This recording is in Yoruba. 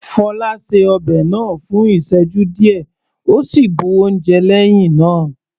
Fola ṣe ọbẹ̀ náà fún ìsẹ́jú díẹ̀ ó sì bu oúnjẹ lẹ́hìn náà.